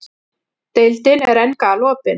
Deildin er enn galopin